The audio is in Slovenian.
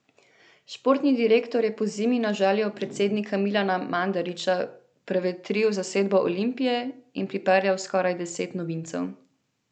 Športni direktor je pozimi na željo predsednika Milana Mandarića prevetril zasedbo Olimpije in pripeljal skoraj deset novincev.